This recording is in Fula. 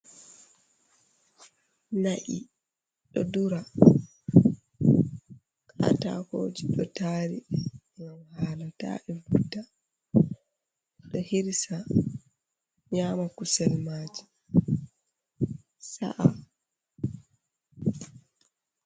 Na’i do dura. Katakooji ɗo tari, ngam haala ta ɗi wurta. Ɓe hirsa nƴama kusel maaji. Sa’a.